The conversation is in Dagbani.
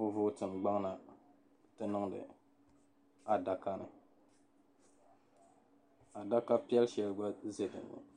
o vootin gbaŋ na n-ti niŋdi adaka ni adaka piɛl' shɛli gba za dinni.